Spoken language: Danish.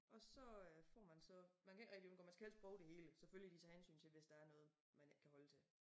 Og så øh får man så man kan ikke rigtig undgå man skal helst prøve det hele selvfølgelig de tager hensyn til hvis der er noget man ikke kan holde til